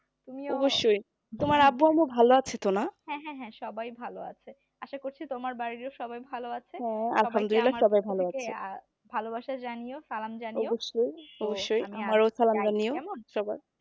অবশ্যই তোমার আব্বু আম্মু ভালো আছে তো না হ্যাঁ হ্যাঁ সবাই ভালো আছে আশা করছি তোমার বাড়িরও সবাই ভালো আছে আলহামদুল্লিলা হ্যা সবাই ভালো আছে ভালোবাসা জানিও সালাম জানিও অবশ্যই অবশ্যই আমারও সালাম জানিও সবার